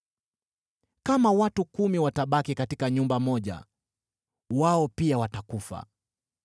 Kama watu kumi watabaki katika nyumba moja, wao pia watakufa.